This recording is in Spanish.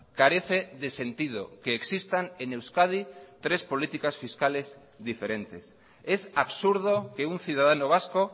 carece de sentido que existan en euskadi tres políticas fiscales diferentes es absurdo que un ciudadano vasco